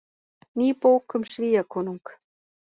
Ný bók um Svíakonung